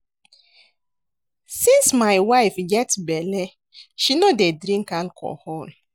Since my wife get bele she no dey drink alcohol